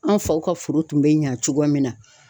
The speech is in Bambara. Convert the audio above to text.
An faw ka foro tun bɛ ɲɛ cogoya min na.